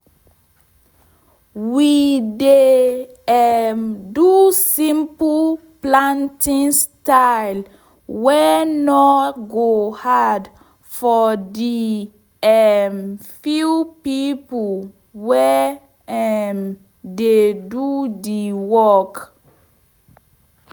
we dey um do simple plantin style wey nor go hard for de um few pipo wey um dey do de work